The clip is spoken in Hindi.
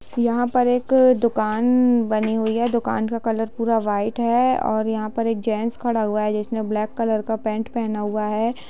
यहाँ पर एक दूकान बनी हुई हैं। ये दूकान का कलर पूरा वाइट हैं और यहाँ पे एक जेंट्स खड़ा हुआ हैं जिसने ब्लैक कलर का पेंट पहना हुआ हैं।